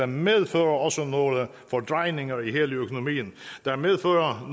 medfører også nogle fordrejninger i hele økonomien der medfører